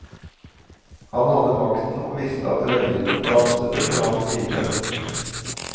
Han hadde makten og visste at røyene danset etter hans pipe.